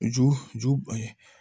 Ju ju